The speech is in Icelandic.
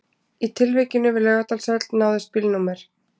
Í tilvikinu við Laugardalshöll náðist bílnúmer